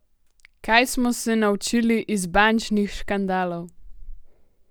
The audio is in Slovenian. Kaj smo se naučili iz bančnih škandalov?